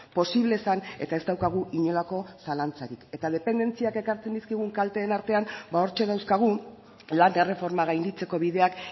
posible zen eta ez daukagu inolako zalantzarik eta dependentziak ekartzen dizkigun kalteen artean ba hortxe dauzkagu lan erreforma gainditzeko bideak